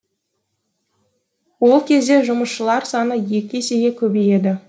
ол кезде жұмысшылар саны екі есеге көбейеді